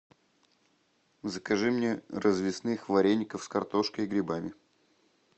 закажи мне развесных вареников с картошкой и грибами